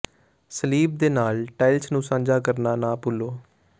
ਸਲੀਬ ਦੇ ਨਾਲ ਟਾਇਲਸ ਨੂੰ ਸਾਂਝਾ ਕਰਨਾ ਨਾ ਭੁੱਲੋ